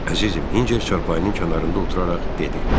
Əzizim, Hinçer çarpayının kənarında oturaraq dedi.